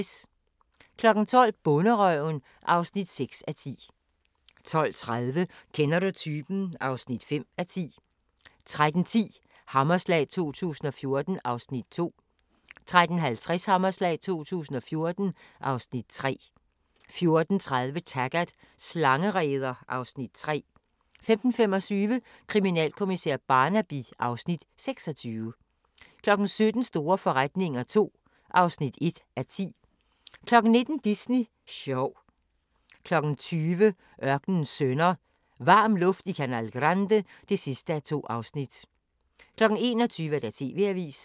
12:00: Bonderøven (6:10) 12:30: Kender du typen? (5:10) 13:10: Hammerslag 2014 (Afs. 2) 13:50: Hammerslag 2014 (Afs. 3) 14:30: Taggart: Slangereder (Afs. 3) 15:25: Kriminalkommissær Barnaby (Afs. 26) 17:00: Store forretninger II (1:10) 19:00: Disney sjov 20:00: Ørkenens sønner – Varm luft i canal grande (2:2) 21:00: TV-avisen